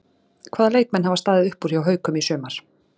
Hvaða leikmenn hafa staðið upp úr hjá Haukum í sumar?